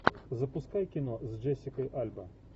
запускай кино с джессикой альба